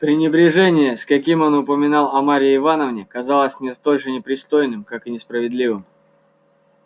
пренебрежение с каким он упоминал о марье ивановне казалось мне столь же непристойным как и несправедливым